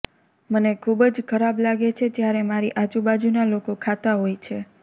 મને ખૂબ જ ખરાબ લાગે છે જ્યારે મારી આજુબાજુના લોકો ખાતા હોય છે